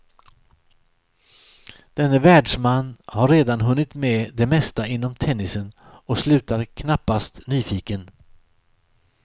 Denne världsman har redan hunnit med det mesta inom tennisen och slutar knappast nyfiken.